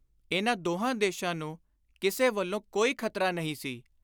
ਇਨ੍ਹਾਂ ਦੋਹਾਂ ਦੇਸ਼ਾਂ ਨੂੰ ਕਿਸੇ ਵੱਲੋਂ ਕੋਈ ਖ਼ਤਰਾ ਨਹੀਂ ਸੀ।